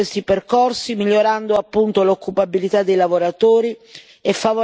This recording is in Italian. l'occupabilità dei lavoratori e favorendo la mobilità degli stessi.